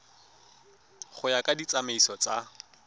go ya ka ditsamaiso tsa